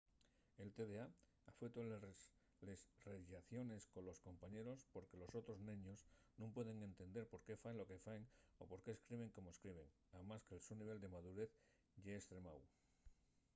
el tda afeuta les rellaciones colos compañeros porque los otros neños nun pueden entender por qué faen lo que faen o por qué escriben como escriben amás que'l so nivel de madurez ye estremáu